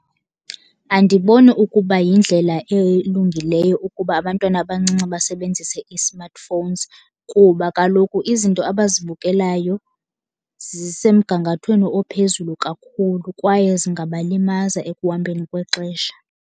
Andiboni ukuba yindlela elungileyo ukuba abantwana abancinci basebenzise ii-smartphones kuba kaloku izinto abazibukelayo zisemgangathweni ophezulu kakhulu kwaye zingabalimaza ekuhambeni kwexesha.